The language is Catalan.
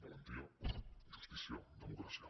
valentia justícia democràcia